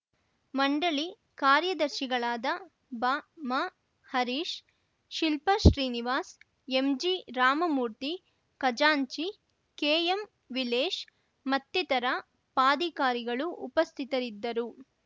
ಮಂಡಳಿ ಕಾರ್ಯದರ್ಶಿಗಳಾದ ಬಾಮಾಹರೀಶ್‌ ಶಿಲ್ಪಾ ಶ್ರೀನಿವಾಸ್‌ ಎಂಜಿರಾಮಮೂರ್ತಿ ಖಜಾಂಚಿ ಕೆಎಂವಿಲೇಶ್‌ ಮತ್ತಿತರ ಪಾಧಿಕಾರಿಗಳು ಉಪಸ್ಥಿತರಿದ್ದರು